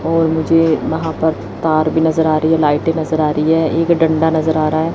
और मुझे वहां पर तार भी नजर आ रही है लाइटें नजर आ रही है एक डंडा नजर आ रहा है।